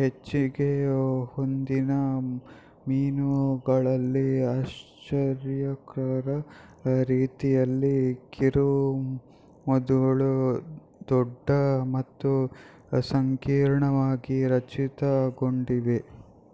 ಹೆಚ್ಚಿಗೆ ಹೊಂದಿದ ಮೀನುಗಳಲ್ಲಿ ಆಶ್ಚರ್ಯಕರ ರೀತಿಯಲ್ಲಿ ಕಿರುಮೆದುಳು ದೊಡ್ಡ ಮತ್ತು ಸಂಕೀರ್ಣವಾಗಿ ರಚಿತಗೊಂಡಿವೆ